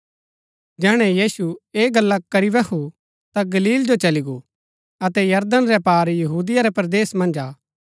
जैहणै यीशु ऐह गल्ला करी बैहु ता ता गलील जो चली गो अतै यरदन रै पार यहूदिया रै परदेसा मन्ज आ